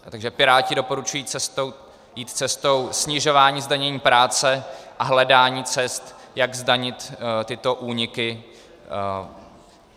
Takže Piráti doporučují jít cestou snižování zdanění práce a hledání cest, jak zdanit tyto úniky.